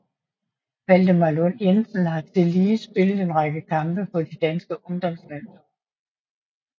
Valdemar Lund Jensen har tillige spillet en række kampe på de danske ungdomslandshold